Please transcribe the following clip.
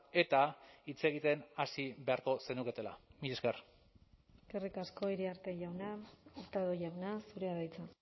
eta hitz egiten hasi beharko zenuketela mila esker eskerrik asko iriarte jauna hurtado jauna zurea da hitza